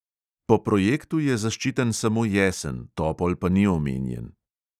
Po projektu je zaščiten samo jesen, topol pa ni omenjen.